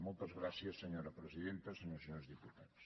moltes gràcies senyora presidenta senyores i senyors diputats